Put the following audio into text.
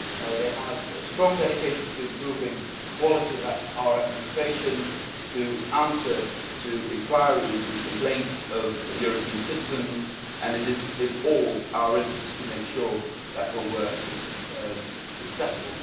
They have a strong dedication to improving the quality of our administration and to answering enquiries and complaints from European citizens, and it is in all our interests to make sure that her work is successful.